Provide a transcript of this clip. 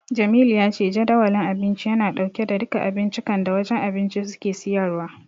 Jamilu ya ce Jadawalin Abinci yana dauke da duka abincikan da wajen abinci suke siyarwa.